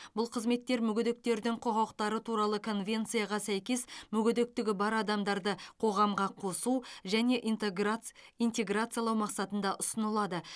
бұл қызметтер мүгедектердің құқықтары туралы конвенцияға сәйкес мүгедектігі бар адамдарды қоғамға қосу және интаграц интеграциялау мақсатында ұсынылады